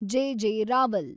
J. J. Rawal